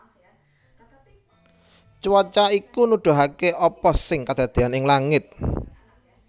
Cuaca iku nuduhaké apa sing kedadéyan ing langit